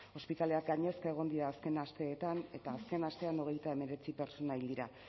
ospitaleak gainezka egon dira azken asteetan eta azken astean hogeita hemeretzi pertsona hil dira